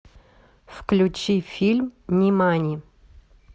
включи фильм нимани